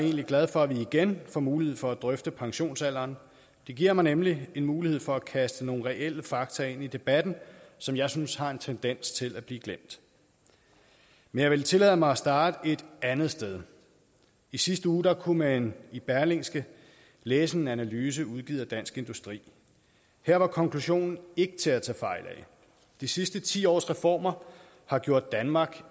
egentlig glad for at vi igen får mulighed for at drøfte pensionsalderen det giver mig nemlig en mulighed for at kaste nogle reelle fakta ind i debatten som jeg synes har en tendens til at blive glemt men jeg vil tillade mig starte et andet sted i sidste uge kunne man i berlingske læse en analyse udgivet af dansk industri her var konklusionen ikke til at tage fejl af de sidste ti års reformer har gjort danmark